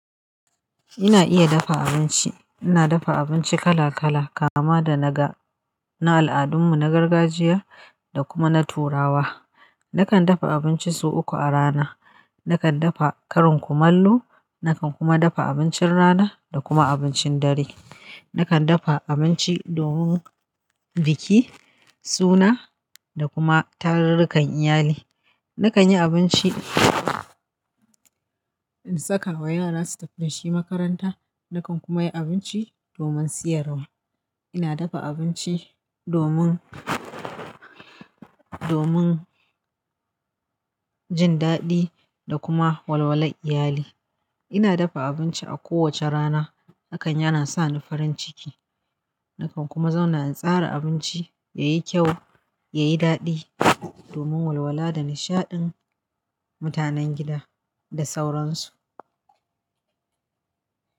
Ina iya dafa abinci. Ina dafa abinci kala-kala kama da ga na al'adunmu na gargajiya da kuma na turawa. Nakan dafa abinci sau uku a rana. Nakan dafa karin kumallo, nakan kuma dafa abincin rana da kuma abincin dare. Nakan dafa abinci domin biki, suna da kuma tarurrukan iyali. Nakan yi abinci in sakawa yara su tafi da shi makaranta. Nakan kuma yi abinci domin siyarwa. Ina dafa abinci domin, domin jin daɗi da kuma walwalar iyali. Ina dafa abinci a kowace rana. Hakan yana sa ni farin ciki. Nakan kuma zauna in tsara abinci yayi kyau, yayi daɗi domin walwala da nishaɗin mutanen gida da sauransu.